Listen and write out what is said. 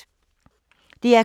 DR K